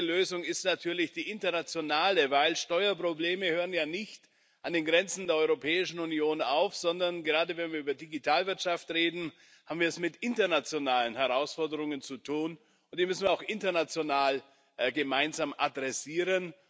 Die beste Lösung ist natürlich die internationale, denn Steuerprobleme hören ja nicht an den Grenzen der Europäischen Union auf, sondern gerade wenn wir über Digitalwirtschaft reden wir haben es mit internationalen Herausforderungen zu tun, und die müssen wir auch international gemeinsam adressieren.